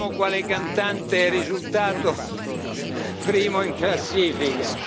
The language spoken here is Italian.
quale cantante risultato primo in classifica.